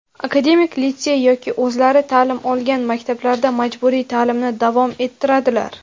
akademik litsey yoki o‘zlari ta’lim olgan maktablarda majburiy ta’limni davom ettiradilar.